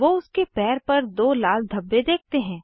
वो उसके पैर पर दो लाल धब्बे देखते हैं